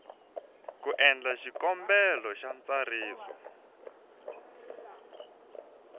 ku endla xikombelo xa ntsariso